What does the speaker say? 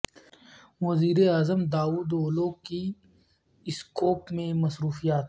وزیر اعظم Davutoglu کی اسکوپ میں مصروفیات